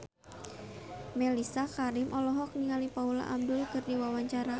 Mellisa Karim olohok ningali Paula Abdul keur diwawancara